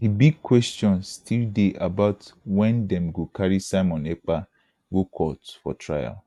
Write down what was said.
di big kwestions still dey about wen dem go carry simon ekpa go court for trial